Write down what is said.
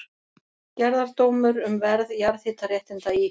Gerðardómur um verð jarðhitaréttinda í